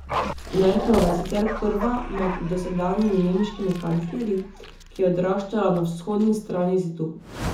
Merklova je sicer prva med dosedanjimi nemškimi kanclerji, ki je odraščala na vzhodni strani zidu.